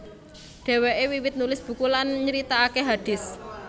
Dhèwèké wiwit nulis buku lan nyritakaké hadits